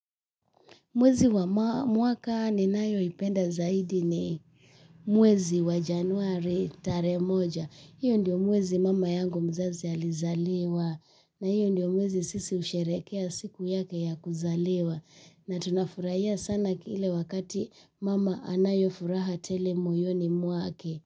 Mwezi wa mwaka ninayoipenda zaidi ni mwezi wa Januari tarehe moja. Hiyo ndiyo mwezi mama yangu mzazi alizaliwa na hiyo ndiyo mwezi sisi husherehekea siku yake ya kuzaliwa. Na tunafurahia sana kile wakati mama anayofuraha tele moyoni mwake.